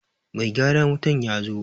Mai gyaran wutan ya zo.